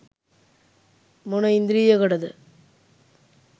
මොන ඉන්ද්‍රියකටද?